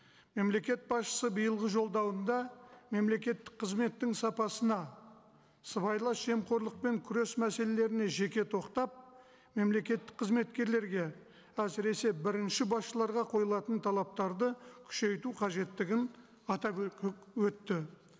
мемлекет басшысы биылғы жолдауында мемлекеттік қызметтің сапасына сыбайлас жемқорлықпен күрес мәселелеріне жеке тоқтап мемлекеттік қызметкерлерге әсіресе бірінші басшыларға қойылатын талаптарды күшейту қажеттігін атап өтті